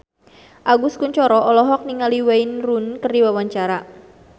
Agus Kuncoro olohok ningali Wayne Rooney keur diwawancara